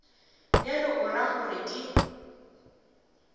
bjalo o ra gore ke